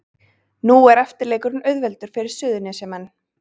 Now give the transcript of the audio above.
Nú er eftirleikurinn auðveldur fyrir Suðurnesjamenn